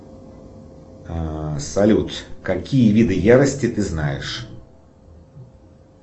салют какие виды ярости ты знаешь